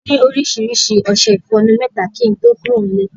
A ni oríṣiríṣi ọṣẹ ìfọnu mẹ́ta kí ń tó kúrò nílé.